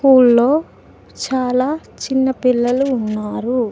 ఊళ్లో చాలా చిన్న పిల్లలు ఉన్నారు.